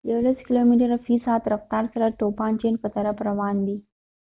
يولس کلوميتره في ساعت رفتار سره توپان چين په طرف روان دي